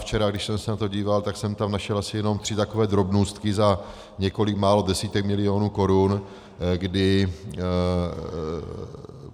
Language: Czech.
Včera když jsem se na to díval, tak jsem tam našel asi jenom tři takové drobnůstky za několik málo desítek milionů korun, kdy...